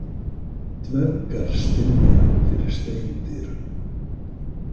Dvergar stynja fyrir steindyrum.